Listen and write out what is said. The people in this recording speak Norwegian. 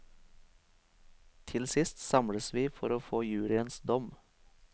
Til sist samles vi for å få juryens dom.